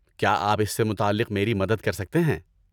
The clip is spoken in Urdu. کیا آپ اس سے متعلق میری مدد کر سکتے ہیں؟